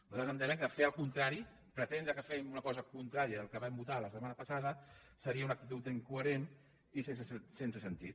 nosaltres entenem que fer el contrari pretendre que fem una cosa contrà·ria del que vam votar la setmana passada seria una ac·titud incoherent i sense sentit